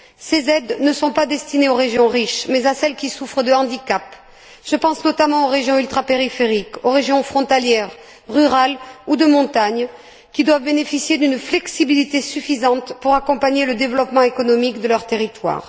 Ces aides ne sont pas destinées aux régions riches mais à celles qui souffrent de handicaps. Je pense notamment aux régions ultrapériphériques, aux régions frontalières, rurales ou de montagne qui doivent bénéficier d'une flexibilité suffisante pour accompagner le développement économique de leur territoire.